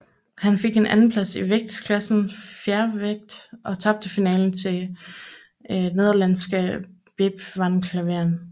Han fik en andenplads i vægtklassen fjervægt og tabte finalen til nederlandske Bep van Klaveren